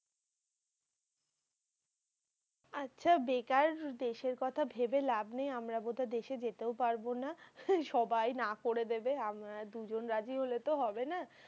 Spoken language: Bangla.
আচ্ছা, বেকার দেশের কথা ভেবে লাভ নেই। আমরা বোধহয় দেশে যেতেও পারবো না। সবাই না করে দেবে। আমরা দুজন রাজি হলে তো হবে না।